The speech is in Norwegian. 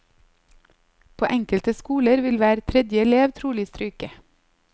På enkelte skoler vil hver tredje elev trolig stryke.